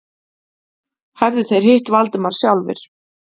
Hefðu þeir hitt Valdimar sjálfir?